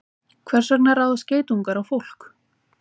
Hvers vegna ráðast geitungar á fólk?